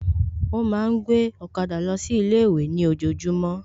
Ó ma ń gbé ọ̀kadà lọ sí ilé ìwé ní ojojúmọ́